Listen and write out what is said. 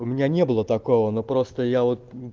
у меня не было такого но просто я вот мм